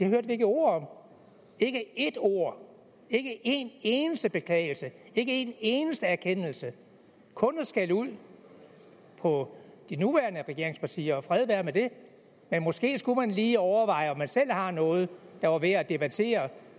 hørt et ord om ikke et ord ikke en eneste beklagelse ikke en eneste erkendelse kun skældud på de nuværende regeringspartier og fred være med det men måske skulle man lige overveje om man måske selv har noget der var værd at debattere